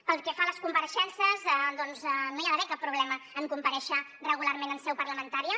pel que fa a les compareixences doncs no hi ha d’haver cap problema en comparèixer regularment en seu parlamentària